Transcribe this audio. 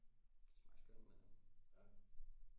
Det smagte skønt men øh